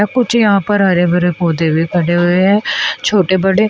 कुछ यहां पर हरे भरे पौधे भी खड़े हुए है छोटे बड़े।